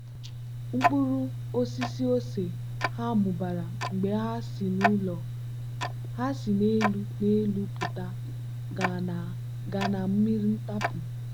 mkpụrụ osisi ose ha mụbara mgbe ha si n'elu n'elu pụta gaa na mmiri ntapu.